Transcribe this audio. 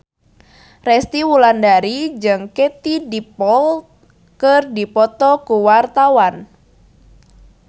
Resty Wulandari jeung Katie Dippold keur dipoto ku wartawan